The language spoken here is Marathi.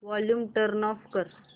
वॉल्यूम टर्न ऑफ कर